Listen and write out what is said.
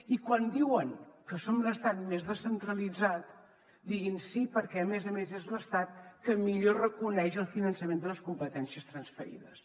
i quan diuen que som l’estat més descentralitzat diguin sí perquè a més a més és l’estat que millor reconeix el finançament de les competències transferides